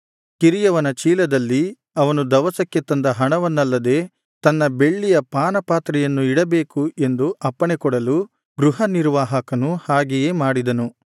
ಕಿರಿಯವನ ಚೀಲದಲ್ಲಿ ಅವನು ದವಸಕ್ಕೆ ತಂದ ಹಣವನ್ನಲ್ಲದೇ ತನ್ನ ಬೆಳ್ಳಿಯ ಪಾನ ಪಾತ್ರೆಯನ್ನು ಇಡಬೇಕು ಎಂದು ಅಪ್ಪಣೆಕೊಡಲು ಗೃಹನಿರ್ವಾಹಕನು ಹಾಗೆಯೇ ಮಾಡಿದನು